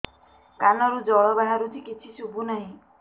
କାନରୁ ଜଳ ବାହାରୁଛି କିଛି ଶୁଭୁ ନାହିଁ